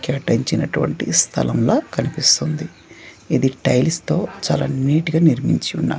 కేటాయించినటువంటి స్థలంలా కనిపిస్తుంది ఇది టైల్స్ తో చాలా నీట్ గా నిర్మించి ఉన్న--